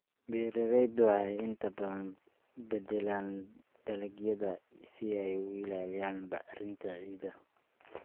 Beeraleydu waxay inta badan beddelaan dalagyada si ay u ilaaliyaan bacrinta ciidda.